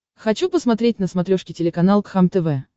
хочу посмотреть на смотрешке телеканал кхлм тв